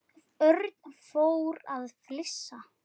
Örn fór að flissa.